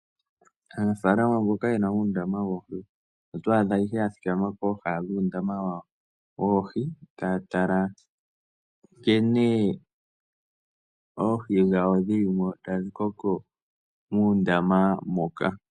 Aanafalama mboka yena uundama woohi, otwaa dha ihe ya thikama pooha dhuu ndama wawo woohi taa tala nkene oohi dhawo dhilimo tadhi koko muundama moka.